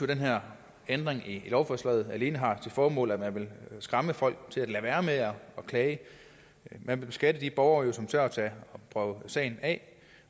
den her ændring i lovforslaget alene har til formål at man vil skræmme folk til at lade være med at klage man vil beskatte de borgere som tør prøve sagen af